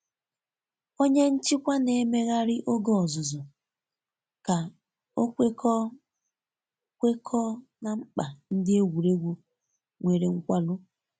Onye nchikwa n'emeghari oge ọzụzụ ka o kwekọọ kwekọọ na mkpa ndị egwuregwu nwere nkwarụ.